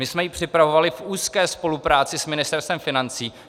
My jsme ji připravovali v úzké spolupráci s Ministerstvem financí.